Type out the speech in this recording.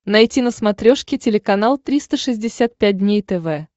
найти на смотрешке телеканал триста шестьдесят пять дней тв